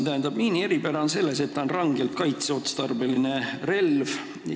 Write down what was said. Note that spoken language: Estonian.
Tähendab, miini eripära on selles, et ta on rangelt kaitseotstarbeline relv.